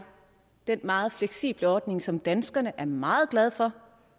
den meget fleksible ordning som danskerne er meget glade for